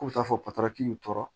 Ko taa fɔ patɔrɔn k'u tɔɔrɔ